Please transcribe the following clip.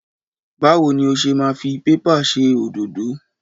Báwo ni o ṣe máa fi pépà ṣe òdódó?